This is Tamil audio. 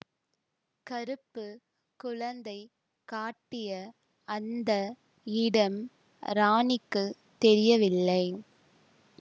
கறுப்பு குழந்தை காட்டிய அந்த இடம் ராணிக்குத் தெரியவில்லை